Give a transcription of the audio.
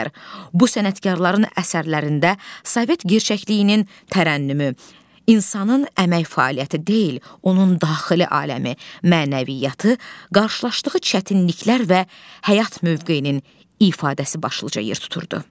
Bu sənətkarların əsərlərində sovet gerçəkliyinin tərənnümü, insanın əmək fəaliyyəti deyil, onun daxili aləmi, mənəviyyatı, qarşılaşdığı çətinliklər və həyat mövqeyinin ifadəsi başlıca yer tuturdu.